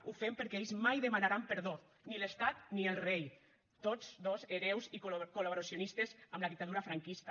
ho fem perquè ells mai demanaran perdó ni l’estat ni el rei tots dos hereus i col·laboracionistes amb la dictadura franquista